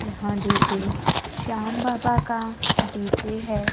यहां डी_जे श्याम बाबा का डी_जे है।